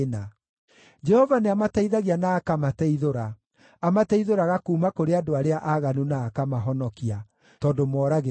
Jehova nĩamateithagia na akamateithũra; amateithũraga kuuma kũrĩ andũ arĩa aaganu na akamahonokia, tondũ moragĩra harĩ we.